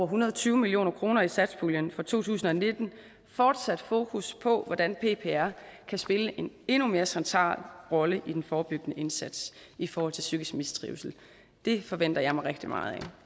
hundrede og tyve million kroner i satspuljen for to tusind og nitten fortsat fokus på hvordan ppr kan spille en endnu mere central rolle i den forebyggende indsats i forhold til psykisk mistrivsel det forventer jeg mig rigtig meget af